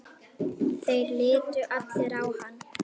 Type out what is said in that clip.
Þeir litu allir á hann.